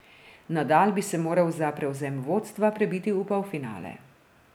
Nadal bi se moral za prevzem vodstva prebiti v polfinale.